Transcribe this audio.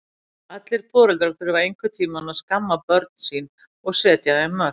Allir foreldrar þurfa einhvern tíma að skamma börn sín og setja þeim mörk.